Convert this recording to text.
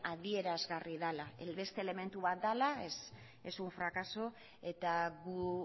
adierazgarri dela beste elementu bat dela es un fracaso eta gu